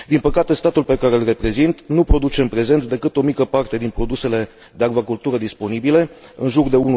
Din păcate, statul pe care îl reprezint nu produce în prezent decât o mică parte din produsele de acvacultură disponibile, în jur de